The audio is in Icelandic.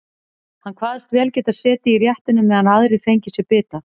Hann kvaðst vel geta setið í réttinum meðan aðrir fengju sér bita.